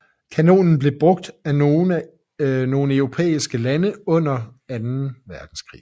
Kanonen blev brugt af nogle europæiske lande under 2